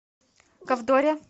ковдоре